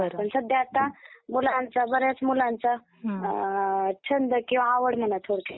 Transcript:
सध्या आता मुलांचा... बऱ्याच मुलांचा अं छंद किंवा आवड म्हणा थोडक्यात